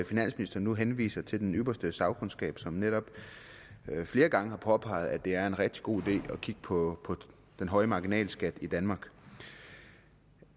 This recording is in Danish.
finansministeren nu henviser til den ypperste sagkundskab som netop flere gange har påpeget at det er en rigtig god idé at kigge på den høje marginalskat i danmark